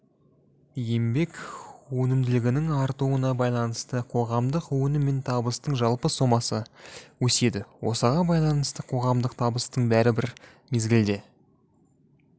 еңбек өнімділігінің артуына байланысты қоғамдық өнім мен табыстың жалпы сомасы өседі осыған байланысты қоғамдық табыстың бәрі бір мезгілде